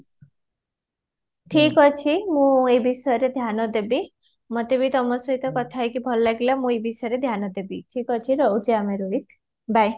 ଠିକ ଅଛି ମୁଁ ଏବିଷୟ ରେ ଧ୍ୟାନ ଦେବି ମୋତେ ବି ତମ ସହିତ କଥା ହେଇକି ଭଲ ଲାଗିଲା ମୁଁ ଏ ବିଷୟରେ ଧ୍ୟାନ ଦେବି, ଠିକ ଅଛି ରହୁଛି ଆମେ ରୋହିତ bye